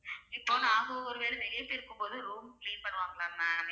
இப்ப நாங்க ஒரு வேல வெளிய போயிருக்கும் போது room clean பண்ணுவாங்களா ma'am?